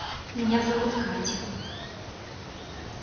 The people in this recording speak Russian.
меня зовут катя